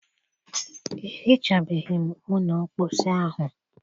Ehichabeghị m ụlọ mposi ahụ.